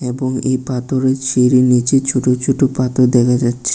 এবং এই পাথরের সিঁড়ির নিচে ছোট ছোট পাথর দেখা যাচ্ছে।